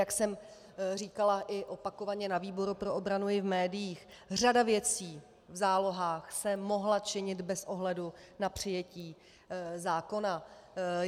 Jak jsem říkala i opakovaně na výboru pro obranu i v médiích, řada věcí v zálohách se mohla činit bez ohledu na přijetí zákona.